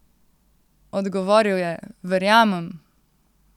Odgovoril je: "Verjamem ...